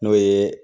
N'o ye